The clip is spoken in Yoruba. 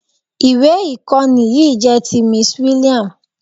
Ìwé ìkọ́ni yìí jẹ́ ti Miss William.